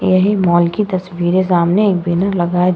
यह मॉल की तस्वीर है। सामने एक बैनर लगा है।